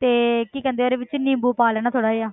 ਤੇ ਕੀ ਕਹਿੰਦੇ ਆ ਉਹਦੇ ਵਿੱਚ ਨਿੰਬੂ ਪਾ ਲੈਣਾ ਥੋੜ੍ਹਾ ਜਿਹਾ